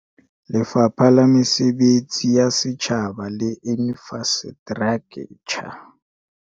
Lefapha la Mesebetsi ya Setjhaba le Infrastraktjha